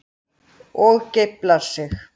Og geiflar sig.